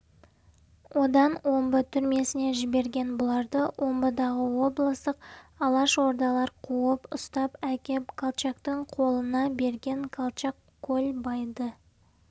одан омбы түрмесіне жіберген бұларды омбыдағы облыстық алашордалар қуып ұстап әкеп колчактың қолына берген колчак көлбайды